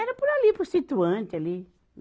Era por ali, por situante ali.